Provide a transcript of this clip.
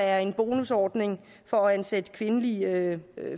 er en bonusordning for at ansætte kvindelige